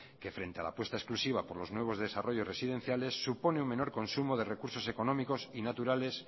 que frente a la puesta exclusiva por los nuevos desarrollos residenciales supone un menor consumo de recursos económicos y naturales